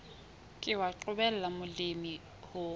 ke wa qobella molemi ho